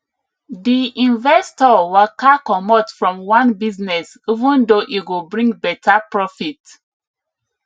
di investor waka comot from one business even though e go bring better profit